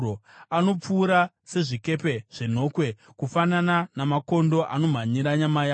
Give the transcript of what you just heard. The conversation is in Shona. Anopfuura sezvikepe zvenhokwe, kufanana namakondo anomhanyira nyama yawo.